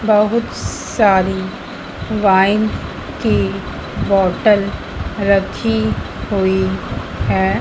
बहुत सारी वाइन की बोटल रखी हुई है।